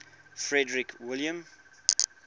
frederick william